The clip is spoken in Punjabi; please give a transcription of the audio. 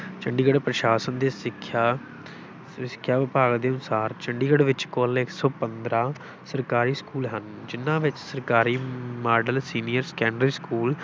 ਚੰਡੀਗੜ੍ਹ ਪ੍ਰਸ਼ਾਸਨ ਦੇ ਸਿੱਖਿਆ ਸਿੱਖਿਆ ਵਿਭਾਗ ਦੇ ਅਨੁਸਾਰ, ਚੰਡੀਗੜ੍ਹ ਵਿੱਚ ਕੁੱਲ ਇੱਕ ਸੌ ਪੰਦਰਾਂ ਸਰਕਾਰੀ ਸਕੂਲ ਹਨ, ਜਿਨ੍ਹਾਂ ਵਿੱਚ ਸਰਕਾਰੀ ਮਾਡਲ ਸੀਨੀਅਰ ਸੈਕੰਡਰੀ ਸਕੂਲ,